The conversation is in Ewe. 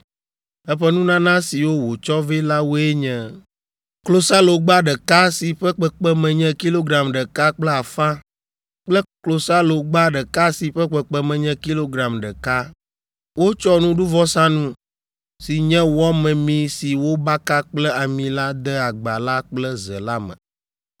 Eƒe nunana siwo wòtsɔ vɛ la woe nye: klosalogba ɖeka si ƒe kpekpeme nye kilogram ɖeka kple afã kple klosalogba ɖeka si ƒe kpekpeme nye kilogram ɖeka. Wotsɔ nuɖuvɔsanu, si nye wɔ memee si wobaka kple ami la de agba la kple ze la me.